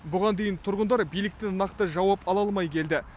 бұған дейін тұрғындар биліктен нақты жауап ала алмай келді